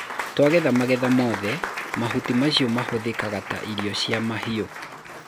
tũagetha magetha mothe, mahũti macio mahũthĩkanga ta irio cia mahĩũ